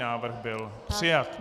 Návrh byl přijat.